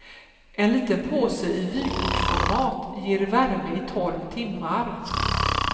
En liten påse i vykortsformat ger värme i tolv timmar.